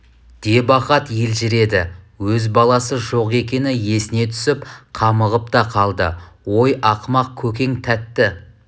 деп ахат елжіреді өз баласы жоқ екені есіне түсіп қамығып та қалды ой ақымақ көкең тәтті